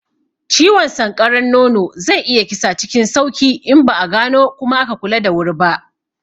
Ciwon sanƙaran nono zai iya kisa cikin sauki in ba a gano kuma aka kula da wuri ba.